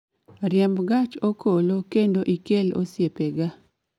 riembo gach okolokendo ikel osiepega